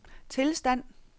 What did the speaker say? tilstand